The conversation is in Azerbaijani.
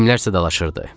Kimlərsə dalaşırdı.